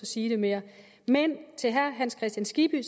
sige det mere men til herre hans kristian skibby